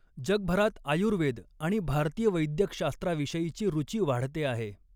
जगभरात आयुर्वेद आणि भारतीय वैद्यकशास्त्राविषयीची रुचि वाढते आहे.